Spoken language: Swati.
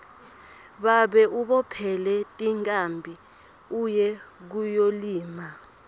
babe ubophele tinkhabi uye kuyolima